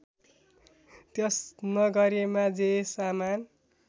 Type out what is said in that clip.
त्यस नगरीमा जे सामान